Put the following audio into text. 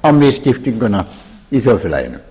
á misskiptinguna í þjóðfélaginu